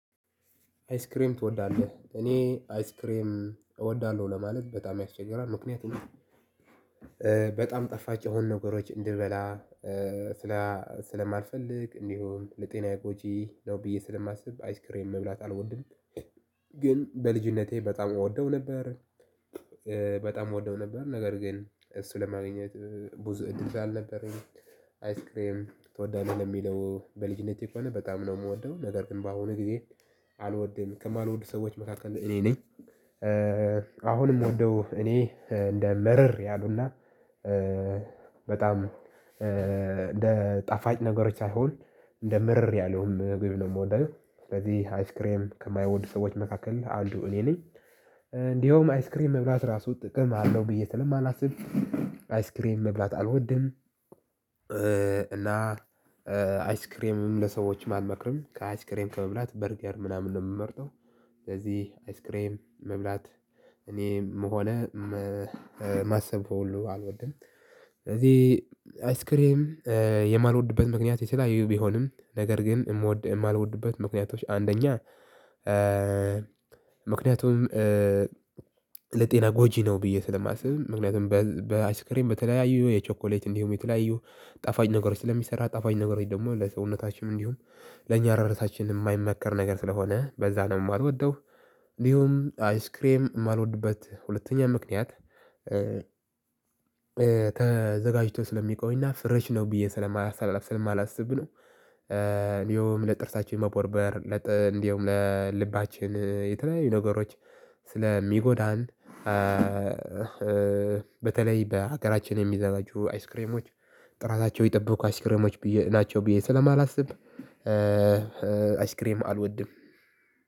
አይስክሬም ትወዳለህ እኔ አይስክሬም እወዳለሁ ለማለት በጣም ያስቸግራል ምክንያቱም በጣም ጣፋች የሆኑ ነገሮች እንድበላ ስለማልፈልግ እንዲሁም ለጤናዬ ጎጂ ነው ብዬ ስለማስብ አይስክሬን መብላት አልወድም። ግን በልጅነቴ በጣም እወደው ነበር። በጣም እወደው ነበር ነገር ግን እሱ ለማግኘት ብዙ እድል ስላልነበረኝ። አይስክሬም ትወዳለህ የሚለው በልጅነቴ ከሆነ በጣም ነው የምወደው ነገር ግን በአሁኑ ጊዜ አልወድም ከማልወዱ ሰዎች መካከል እኔ ነኝ። አሁንም ወደው እኔ እንደ መረር ያሉና። በጣም እንደ ጣፈጭ ነገሮች ሳይሆን እንደ ምርር ያለ ምግብ ነው ምወድ አየህ። ስለዚህ አይስ ክሬም ከማይወዱ ሰዎች መካከል አንዱ እኔ ነኝ። እንድየውም አይስ ክሬም መብላት እራሱ ጥቅም አለሁ ብዬ ስለማላስብ አይስክሬን መብላት አልወድም። እና አይስክሬምም ለሰዎችም አልመክርም ከአይስክሬም ከመብላት በርገር ምናምን ነው ምመርጠው። ስለዚህ አይስክሬም መብላት እኔ መሆን ማሰብ ሁሉ አልወድም። ስለዚህ አይስክሬም የማልወድበት ምክንያት የተለያዩ ቢሆንም ነገር ግን የምወድ የማልወድበት ምክንያቶች አንደኛ ምክንያቱም ለጤና ጎጂ ነው ብዬ ስለማስብ ምክንያቱም በአይስክሬም በተለያዩ የቸኮሌት እንዲሁም የተለያዩ ጣፋጭ ነገሮች ለሚሰራ ጣፋኝ ነገሮች ደግሞ ለሰውነታችን እንዲሁም ለኛ ለራሳችን የማይመከር ነገር ስለሆነ በዛ ነው የማልወደው። እንዲሁም አይስክሬም የማልወድበት ሁለተኛ ምክንያት ተዘጋጅቶ ስለሚቆይና ፍርሽ ነው ብዬ ስለማላስብ ነው። እንዲሁ ለጥርሳችን መቦርቦር እንዲያውም ለልባችን የተለያዩ ነገሮች ስለሚጎዳን። በተለይ በሀገራችን የሚዘጋጁ አይስክሬሞች ጥራታቸው የጠበቁ አስክሬሞች ናቸው ብዬ ስለማላስብ። አስክሬም አልወድም።